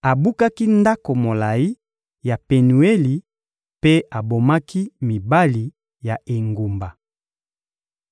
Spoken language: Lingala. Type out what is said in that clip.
Abukaki ndako molayi ya Penueli mpe abomaki mibali ya engumba.